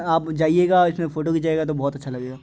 आप जाइएगा इसमे फोटो खींचेगा तो बहुत अच्छा लगेगा।